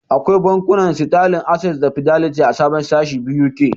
Akwai bankunan Sitalin, Ases da Fideliti a sabon sashi BUK.